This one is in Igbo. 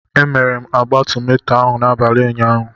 M mere agba tomato ahụ n'abalị ụnyaahụ.